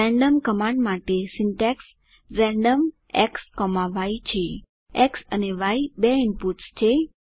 random command માટે syntax random xય છે એક્સ અને ય બે ઇનપુટ્સ છે